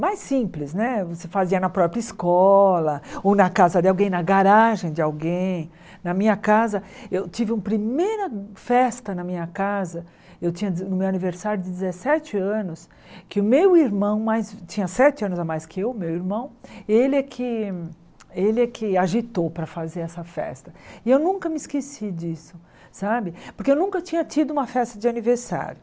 mais simples né você fazia na própria escola ou na casa de alguém na garagem de alguém na minha casa eu tive um primeira festa na minha casa eu tinha no meu aniversário de dezessete anos que o meu irmão tinha sete anos a mais que eu meu irmão ele é que ele é que agitou para fazer essa festa e eu nunca me esqueci disso sabe porque eu nunca tinha tido uma festa de aniversário